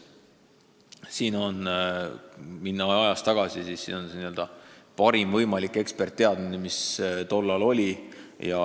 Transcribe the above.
Kui minna ajas tagasi, siis lähtusime parimast võimalikust eksperditeadmisest, mis tol ajal oli.